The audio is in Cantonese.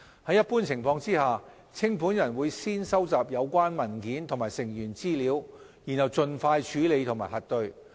在一般情況下，清盤人會先收集有關文件及成員資料，然後盡快處理和核對。